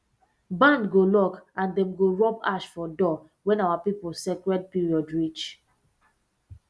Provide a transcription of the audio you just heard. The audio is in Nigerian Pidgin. barn go lock and dem go rub ash for door when our people sacred period reach